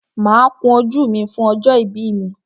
Máa kun ojú mi fún ọjọ́ ìbí mi.